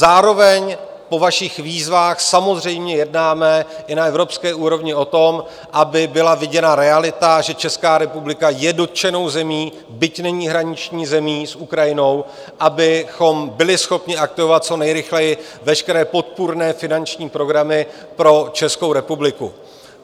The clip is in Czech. Zároveň po vašich výzvách samozřejmě jednáme i na evropské úrovni o tom, aby byla viděna realita, že Česká republika je dotčenou zemí, byť není hraniční zemí s Ukrajinou, abychom byli schopni aktivovat co nejrychleji veškeré podpůrné finanční programy pro Českou republiku.